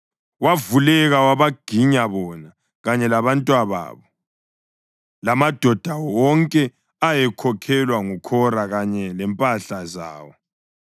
wavuleka wabaginya bona, kanye labantwababo lamadoda wonke ayekhokhelwa nguKhora kanye lempahla zawo.